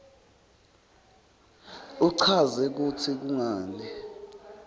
uchaze kutsi kungani